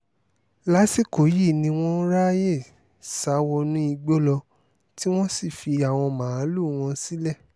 lásìkò yìí ni wọ́n ráàyè sá wọnú igbó lọ tí wọ́n sì fi àwọn màálùú wọn sílẹ̀